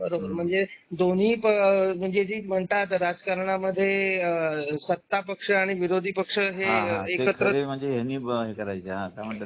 बरोबर म्हणजे दोन्ही म्हणजे म्हणतात राजकारणा मध्ये सत्ता पक्ष आणि विरोधी पक्ष हे एकत्र